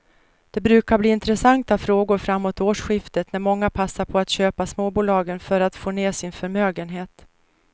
De brukar bli intressanta framåt årsskiftet när många passar på att köpa småbolagen för att få ner sin förmögenhet.